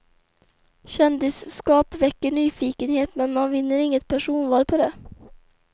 Kändisskap väcker nyfikenhet men man vinner inget personval på det.